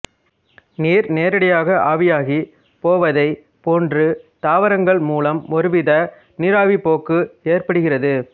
நீர் நேரடியாக ஆவியாகிப் போவதைப் போன்று தாவரங்கள் மூலமும் ஒருவித நீராவிப் போக்கு ஏற்படுகிறது